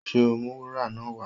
Ṣe o ó mú wúrà náà wá?